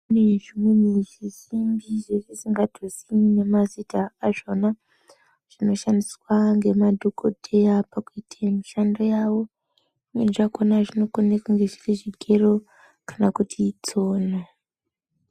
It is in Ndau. Kune zvimweni zvisimbi zvetisingatozii nemazita azvona, zvinoshandiswa ngemadhokoteya pakuite mishando yawo, zvimweni zvakhona zvonokone kunge zviri zvigero kana kuti tsono.